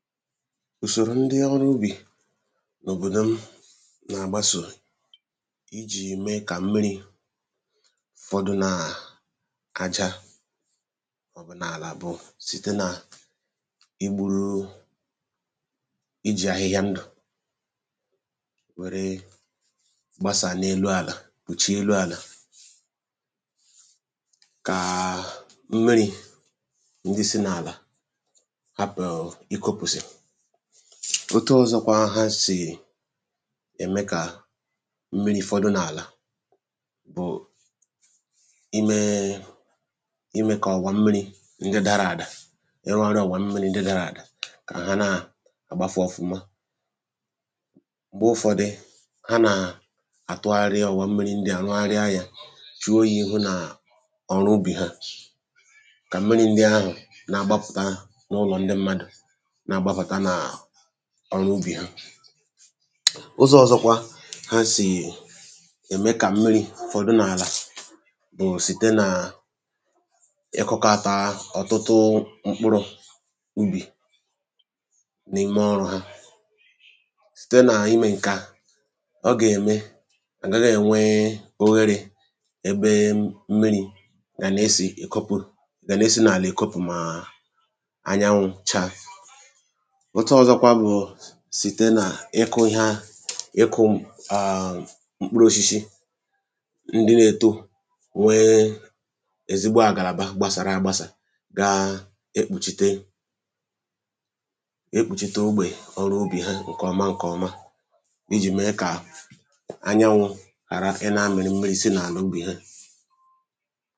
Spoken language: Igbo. ùsòrò ndị ọrụ ubì n’òbòdò m na-àgbasò i jì mee kà mmiri̇ ụ̀fọdụ nàà aja ọ̀bụ̀nàlà bụ̀ site nà i gburuu i jì ahịhịa ndụ̀ nwèrè gbasà n’elu àlà kpùchaa elu̇ àlà kàà mmiri̇ ndị si n’àlà òtù ọ̀zọkwa ha sì ème kà mmiri̇ fọdụ n’àlà bụ̀ ime imė kà ọ̀gwà mmiri̇ njė dara àdà ịrụ ọrụ ọ̀gwà mmiri̇ njė dara àdà kà ha naà àgbafu̇ ọfụma m̀gbe ụfọdị ha nàà àtụgharị ọ̀gwà mmiri ndị à rụgharịa yȧ fị oyi̇ ihu nà ọrụ ubì ha kà mmiri̇ ndị ahụ̀ naà gbapụ̀tà ahụ̀ n’ụlọ̀ ndị mmadụ̀ ọrụ ubì ha ụzọ̇ ọ̀zọkwa ha sì ème kà mmiri̇ ọ̀dụ n’àlà bụ̀ site nà ịkụkȧtà ọ̀tụtụ mkpụrụ̇ ubì nị̀me ọrụ̇ ha site nà imė ǹkè a ọ gà-ème ǹgaghị ènwe oherė ebe mmiri̇ gà na-esì èkopu̇ gà na-esi nà àlà èkopu̇ mà anyanwụ̇ chaa otu ọ̇zọ̇kwȧ bụ̀ site nà ịkụ̇ ihe a ịkụ̇ m̀kpụrụoshishi ndị na-èto nwee ezigbo àgàlàba gbasàra gbasàrà gaa ekpùchite ekpùchite ogbè ọrụ ubì ha ǹkọ̀ọma ǹkọ̀ọma ijì mee kà anyanwụ̇ ghàra ị na-amịrị mmezi n’àlà ubì ha